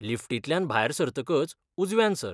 लिफ्टींतल्यान भायर सरतकच उजव्यान सर.